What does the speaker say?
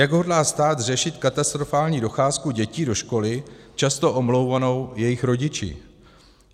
Jak hodlá stát řešit katastrofální docházku dětí do školy, často omlouvanou jejich rodiči?